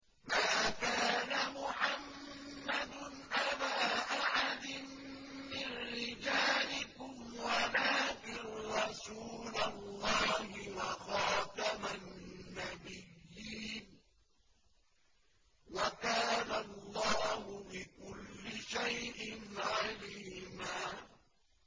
مَّا كَانَ مُحَمَّدٌ أَبَا أَحَدٍ مِّن رِّجَالِكُمْ وَلَٰكِن رَّسُولَ اللَّهِ وَخَاتَمَ النَّبِيِّينَ ۗ وَكَانَ اللَّهُ بِكُلِّ شَيْءٍ عَلِيمًا